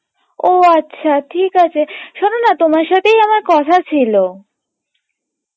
ও আচ্ছা ঠিক আছে, শোননা তোমার সাথেই আমার কথা ছিলো